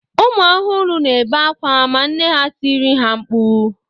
Ụmụ ọhụrụ na-ebe akwa ma nne ha tiri ha mkpu